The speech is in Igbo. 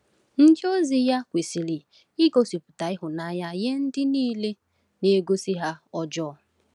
Ndịozi ya kwesịrị igosipụta ịhụnanya nye ndị niile na-agosi ha ọjọọ.